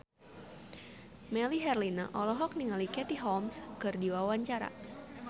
Melly Herlina olohok ningali Katie Holmes keur diwawancara